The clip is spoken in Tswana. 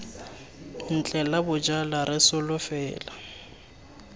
ntle la bojala re solofela